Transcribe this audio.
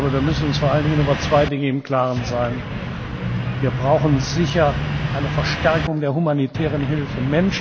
Wir müssen uns vor allem über zwei Dinge im Klaren sein Wir brauchen sicher eine Verstärkung der humanitären Hilfe.